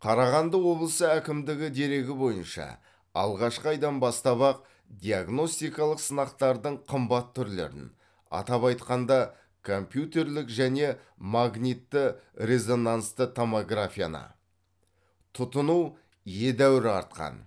қарағанды облысы әкімдігі дерегі бойынша алғашқы айдан бастап ақ диагностикалық сынақтардың қымбат түрлерін атап айтқанда компьютерлік және магнитті резонансты томографияны тұтыну едәуір артқан